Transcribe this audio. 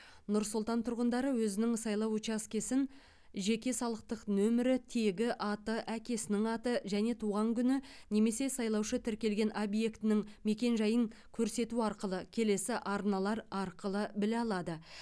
нұр сұлтан тұрғындары өзінің сайлау учаскесін жеке салықтық нөмірі тегі аты әкесінің аты және туған күні немесе сайлаушы тіркелген объектінің мекен жайын көрсету арқылы келесі арналар арқылы біле алады